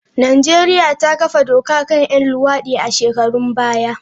Najeriya ta kafa doka kan 'yan luwadi a shekarun baya.